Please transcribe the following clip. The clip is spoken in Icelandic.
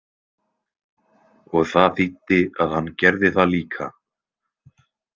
Og það þýddi að hann gerði það líka.